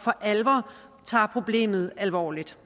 for alvor tager problemet alvorligt